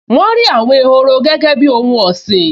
Wọ́n rí àwọn ehoro gẹ́gẹ́ bíi ohun ọ̀sìn